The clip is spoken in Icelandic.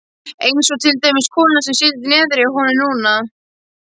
Einsog til dæmis konan sem situr niðri hjá honum núna.